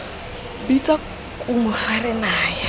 bitsa kumo fa re naya